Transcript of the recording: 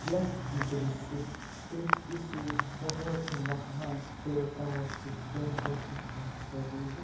यह दृश्य एक किसी बहुत ही महान देवताओं टेम्पल दिखाई पर रही है।